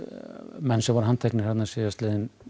menn sem voru handteknir síðastliðinn